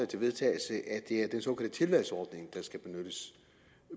til vedtagelse at det er den såkaldte tilvalgsordning der skal benyttes